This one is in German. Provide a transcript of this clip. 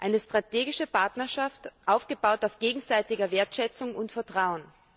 Eine strategische Partnerschaft, aufgebaut auf gegenseitiger Wertschätzung und Vertrauen.